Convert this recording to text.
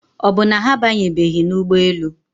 Ọ bụ na ha abanyebeghị n'ụgbọelu?